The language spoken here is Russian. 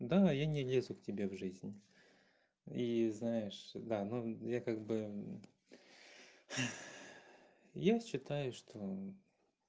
да я не лезу к тебе в жизни и знаешь да ну я как бы я считаю что